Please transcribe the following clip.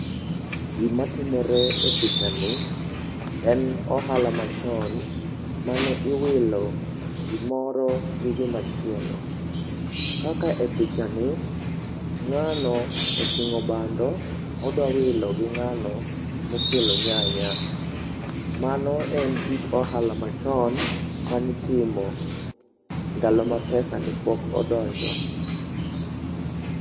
Gimatimore e pichani, en ohala ma machon mane iwilo gimoro gi gimachielo. Kaka e pichani, ng'ano oting'o bando, odwa wilo gi ng'ano mokelo nyanya. Mano en kit ohala machon mane itimo ndalo ma pesa ne pok odonjo.